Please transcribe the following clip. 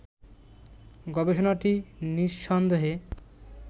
গবেষণাটি নিঃসন্দেহে